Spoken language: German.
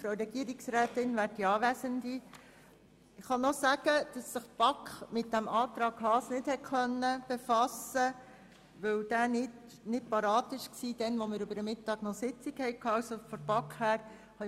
Ich kann noch erwähnen, dass sich die BaK nicht mit dem Antrag Haas befassen konnte, weil dieser, als wir eine Sitzung über den Mittag gehabt haben, nicht bereit war.